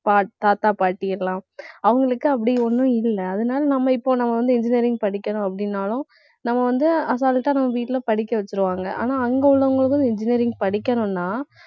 பாட்~ தாத்தா, பாட்டி எல்லாம் அவங்களுக்கு அப்படி ஒண்ணும் இல்ல. அதனால நம்ம இப்ப நம்ம வந்து engineering படிக்கணும் அப்படின்னாலும் நம்ம வந்து அசால்ட்டா நம்ம வீட்ல படிக்க வச்சிருவாங்க. ஆனா அங்க உள்ளவங்களுக்கும் engineering படிக்கணும்னா